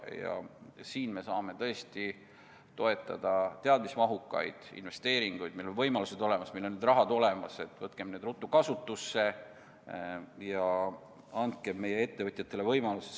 Me saame siin tõesti toetada teadmismahukaid investeeringuid, meil on need võimalused olemas, meil on need summad olemas, võtkem need ruttu kasutusse ja andkem meie ettevõtjatele võimalusi.